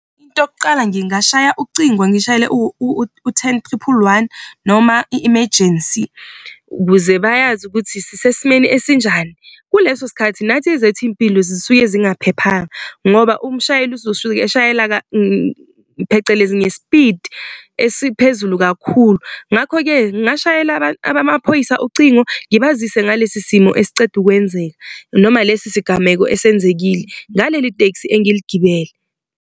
Into yokuqala nje ngingashaya ucingo ngishayele u-ten triple one noma i-imejensi, ukuze bayazi ukuthi sisesimeni esinjani. Kuleso sikhathi nathi ezethu iy'mpilo zifike zingaphephanga ngoba umshayeli uzosuke eshayela phecelezi ngespidi esiphezulu kakhulu. Ngakho-ke ngingashayeli abamaphoyisa ucingo ngibazise ngalesi simo esiceda ukwenzeka noma lesi sigameko esenzekile ngaleli tekisi engiliigibele.